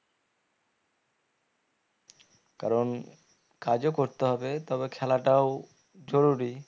কারণ কাজও করতে হবে তবে খেলাটাও জরুরী